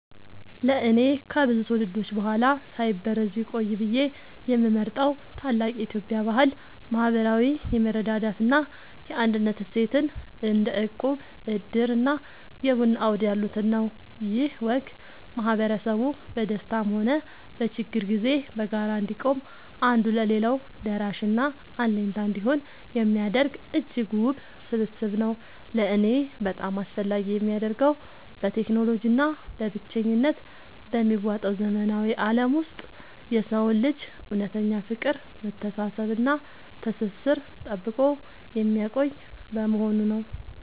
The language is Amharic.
ለእኔ ከብዙ ትውልዶች በኋላ ሳይበረዝ ቢቆይ ብዬ የምመርጠው ታላቅ የኢትዮጵያ ባህል **ማህበራዊ የመረዳዳት እና የአንድነት እሴትን** (እንደ እቁብ፣ ዕድር እና የቡና አውድ ያሉትን) ነው። ይህ ወግ ማህበረሰቡ በደስታም ሆነ በችግር ጊዜ በጋራ እንዲቆም፣ አንዱ ለሌላው ደራሽና አለኝታ እንዲሆን የሚያደርግ እጅግ ውብ ስብስብ ነው። ለእኔ በጣም አስፈላጊ የሚያደርገው፣ በቴክኖሎጂ እና በብቸኝነት በሚዋጠው ዘመናዊ ዓለም ውስጥ የሰውን ልጅ እውነተኛ ፍቅር፣ መተሳሰብ እና ትስስር ጠብቆ የሚያቆይ በመሆኑ ነው።